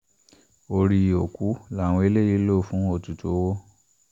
orí òkú làwọn eléyìí lọ́ọ́ hù fún ètùtù owó